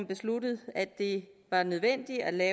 besluttet at det var nødvendigt at